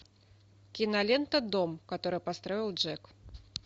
кинолента дом который построил джек